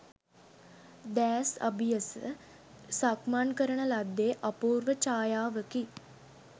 දෑස් අබියස සක්මන් කරන ලද්දේ අපූර්ව ඡායාවකි.